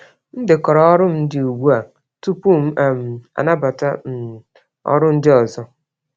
M dekọrọ ọrụ m dị ugbu a tupu m um anabata um ọrụ ndị ọzọ.